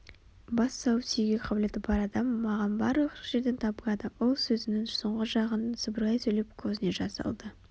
бас салып сүюге қабілеті бар адам маған барлық жерден табылады ол сөзінің соңғы жағын сыбырлай сөйлеп көзіне жас алды